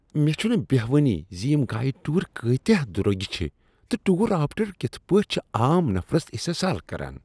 مےٚ چھنہٕ بٮ۪ہوانٕے زِ یِم گایڈڈ ٹور کۭتیاہ دروٚگۍ چِھ تہٕ ٹور آپریٹر کتھ پٲٹھۍ چھ عام نفرس استحصال كران۔